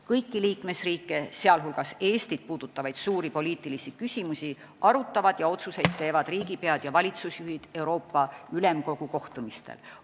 Kõiki liikmesriike, sh Eestit puudutavaid suuri poliitilisi küsimusi arutavad ja otsuseid teevad riigipead ja valitsusjuhid Euroopa Ülemkogu kohtumistel.